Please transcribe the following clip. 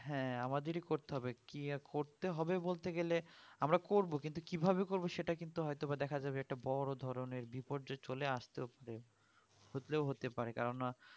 হ্যাঁ আমাদেরই করতে হবে কি করতে হবে বলতে গেলে আমরা করবো কিন্তু কিভাবে করবো সেইটা কিন্তু হয়তো বা দেখা যাবে একটা বোরো ধরণের বিপর্য চলে আস্তেও পারে হলেও হতে পারে কেন না